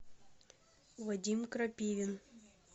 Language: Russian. вадим крапивин